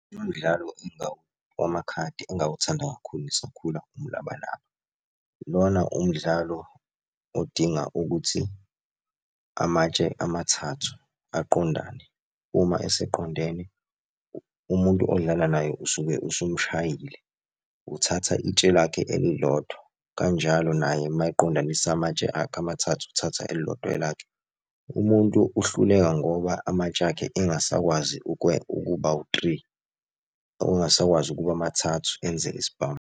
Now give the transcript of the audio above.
Umdlalo wamakhadi engawuthanda kakhulu ngisakhula, umlabalaba. Lona umdlalo odinga ukuthi amatshe amathathu aqondane uma eseqondene, umuntu odlala naye usuke usumshayile. Uthatha itshe lakhe elilodwa, kanjalo naye mayeqondanisa amatshe akhe amathathu, uthatha elilodwa elakhe. Umuntu uhluleka ngoba amatshe akhe engasakwazi ukuba wu-three, ongasakwazi ukuba mathathu enze isibhamu.